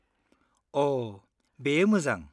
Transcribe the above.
अ, बेयो मोजां।